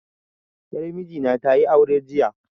Yar miji na tayi aure jiya